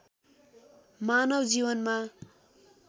मानव जीवनमा